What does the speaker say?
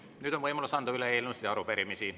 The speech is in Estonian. Nüüd on võimalus anda üle eelnõusid ja arupärimisi.